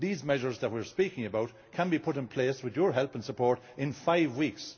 These measures that we are speaking about can be put in place with your help and support in five weeks.